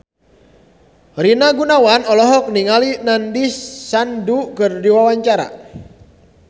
Rina Gunawan olohok ningali Nandish Sandhu keur diwawancara